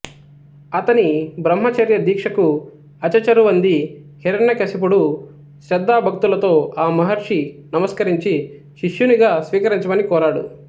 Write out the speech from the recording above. అతని బ్రహ్మచర్య దీక్షకు అచెచరువంది హిరణ్యకశిపుడు శ్రద్ధాభక్తులతో ఆ మహర్షి నమస్కరించి శిష్యునిగా స్వీకరించమని కోరాడు